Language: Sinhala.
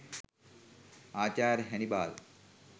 ආචාර්ය හැනිබාල්